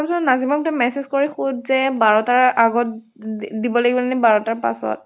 চোন নাদিমক তই message সুধ যে বাৰ তাৰ আগত দে দিব লাগিব নে বাৰ তাৰ পাছত।